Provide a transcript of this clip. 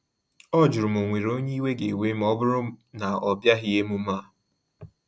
Ọ jụrụ ma o nwere onye iwe ga ewe ma ọ bụrụ na ọbịaghi emume a